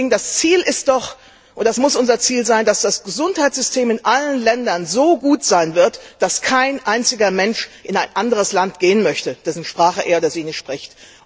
Das Ziel ist doch und das muss unser Ziel sein, dass das Gesundheitssystem in allen Ländern so gut sein wird, dass kein einziger Mensch in ein anderes Land gehen möchte, dessen Sprache er oder sie nicht spricht.